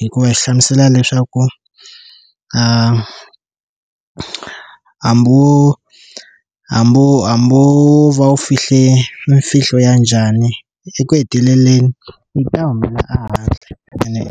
hikuva hi xi hlamusela leswaku hambi wo hambi wo hambi wo va u fihle mfihlo ya njhani eku heteleleni yi ta humela ehandle ene .